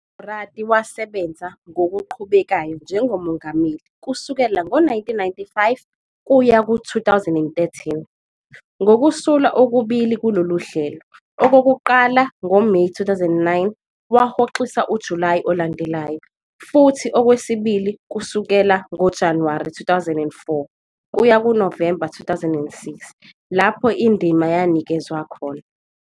UMorati wasebenza ngokuqhubekayo njengomongameli kusukela ngo-1995 kuya ku-2013, ngokusula okubili kulolu hlelo. okokuqala ngoMeyi 2009, wahoxisa uJulayi olandelayo, futhi okwesibili kusukela ngoJanuwari 2004 kuya kuNovemba 2006, lapho indima yanikezwa khona.